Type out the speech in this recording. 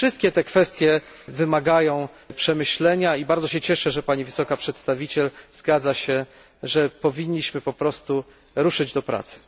Wszystkie te kwestie wymagają przemyślenia i bardzo się cieszę, że Pani Wysoka Przedstawiciel zgadza się, że powinniśmy po prostu ruszyć do pracy.